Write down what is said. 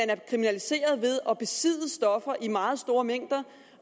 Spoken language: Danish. er kriminaliseret ved at besidde stoffer i meget store mængder